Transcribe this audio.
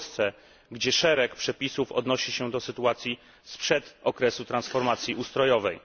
w Polsce, gdzie szereg przepisów odnosi się do sytuacji sprzed okresu transformacji ustrojowej.